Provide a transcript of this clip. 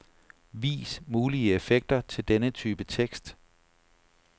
Vis mulige effekter til denne type tekst.